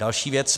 Další věc.